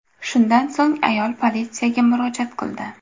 Shundan so‘ng ayol politsiyaga murojaat qildi.